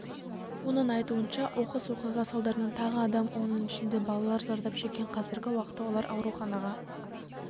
оның айтуынша оқыс оқиға салдарынан тағы адам оның ішінде балалар зардап шеккен қазіргі уақытта олар ауруханаға